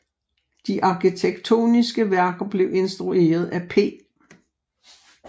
De arkitektoniske værker blev instrueret af P